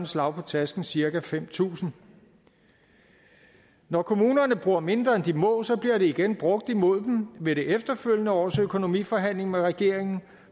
slag på tasken cirka fem tusind når kommunerne bruger mindre end de må så bliver det igen brugt imod dem ved det efterfølgende års økonomiforhandlinger med regeringen